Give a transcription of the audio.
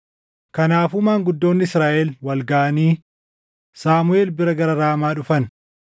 Kanaafuu maanguddoonni Israaʼel wal gaʼanii Saamuʼeel bira gara Raamaa dhufan;